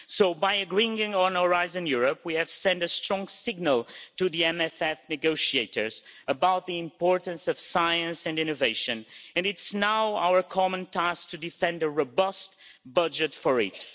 So, by agreeing on Horizon Europe, we have sent a strong signal to the MFF negotiators about the importance of science and innovation, and it is now our common task to defend a robust budget for